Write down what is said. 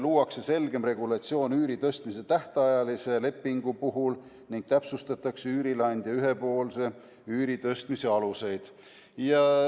Luuakse selgem regulatsioon üüri tõstmiseks tähtajalise lepingu puhul ning täpsustatakse üürileandja ühepoolse üüri tõstmise aluseid.